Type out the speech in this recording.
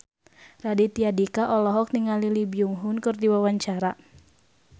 Raditya Dika olohok ningali Lee Byung Hun keur diwawancara